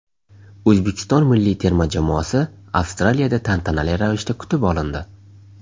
O‘zbekiston milliy terma jamoasi Avstraliyada tantanali ravishda kutib olindi .